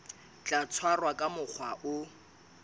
tla tshwarwa ka mokgwa o